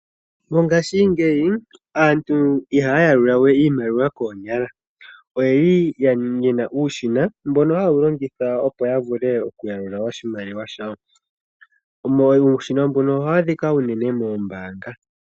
Mongaashingeyi aantu i haya yalula we iimaliwa koonyala. Oye na uushina mbono haye wu longitha opo ya yalule oshimaliwa shawo. Uushina mbuno ohawu adhika unene moombaanga.